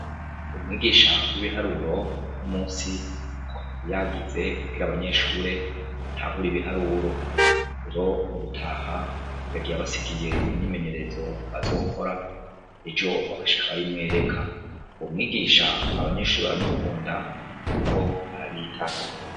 Umwigisha w'ibiharuro uno musi ntako atari yagize kugira abanyeshure batahura ibiharuro. Rero mugutaha, yagiye abasigiye imyimenyerezo bazokora, ejo bagashika bayimwereka. Uyo mwigisha, abanyeshure baramukunda kuko arabitaho.